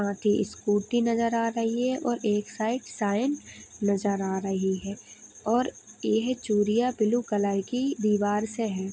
Scooty नजर आ रही है और एक साईड नजर आ रही है और ये है चुरिया बुलु कलर की दीवार से है।